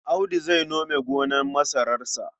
Audu zai nome gonar masararsa.